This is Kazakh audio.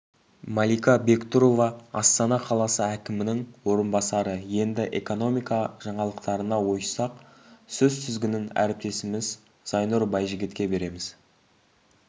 малика бектұрова астана қаласы әкімінің орынбасары енді экономика жаңалықтарына ойыссақ сөз тізгінін әріптесіміз зайнұр байжігітке береміз